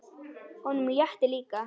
Honum létti líka.